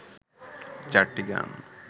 চারটি গান